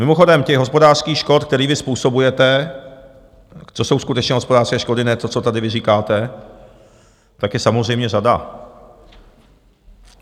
Mimochodem, těch hospodářských škod, které vy způsobujete, co jsou skutečně hospodářské škody, ne to, co tady vy říkáte, tak je samozřejmě řada.